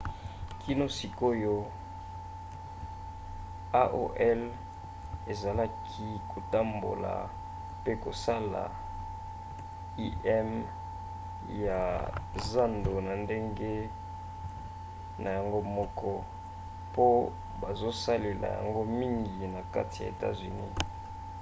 kino sikoyo aol ezalaki kotambola pe kosala im ya zando na ndenge na yango moko po bazosaela yango mingi na kati ya etats-unis